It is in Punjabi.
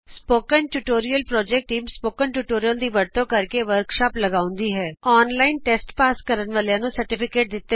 spoken tutorial project team spoken tutorial ਦੀ ਵਰਤੋਂ ਨਾਲ ਵਰਕਸ਼ਾਪ ਲਗਾਉਂਦੀ ਹੈ ਔਨਲਾਈਨ ਟੈਸਟ ਪਾਸ ਕਰਨ ਵਾਲਿਆਂ ਨੂੰ ਸਰਟੀਫਿਕੇਟ ਦਿਤਾ ਜਾਂਦਾ ਹੈ